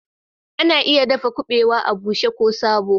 Ana iya dafa kubawa a bushe ko sabo